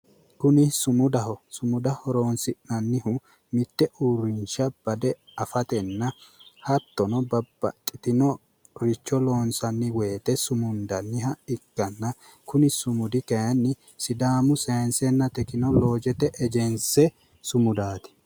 Kuni sumudaho sumuda horonsi'nannihu mitte uurrinsha bade afatenna hattono babbaxinoricho loonsanni woyite sumundanniha ikkanna. Kuni sumudi kaayiinni sidaamu saayiinsenna tekinoloojete ejense sumudaati.